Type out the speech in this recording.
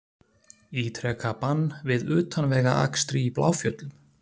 Ítreka bann við utanvegaakstri í Bláfjöllum